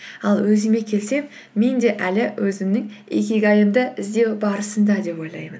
ал өзіме келсем мен де әлі өзімнің икигайымды іздеу барысында деп ойлаймын